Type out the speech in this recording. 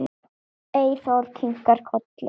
Eyþór kinkar kolli.